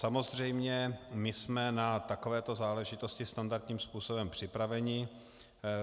Samozřejmě, my jsme na takovéto záležitosti standardním způsobem připraveni.